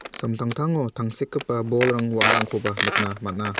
samtangtango tangsekgipa bolrang wa·arangkoba nikna man·a.